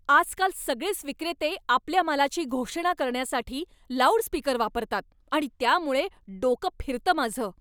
आजकाल सगळेच विक्रेते आपल्या मालाची घोषणा करण्यासाठी लाऊडस्पीकर वापरतात आणि त्यामुळे डोकं फिरतं माझं.